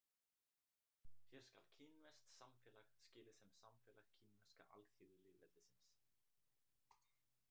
Hér skal kínverskt samfélag skilið sem samfélag Kínverska alþýðulýðveldisins.